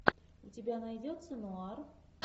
у тебя найдется нуар